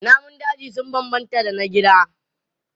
Namun daji sun bambanta da na gida.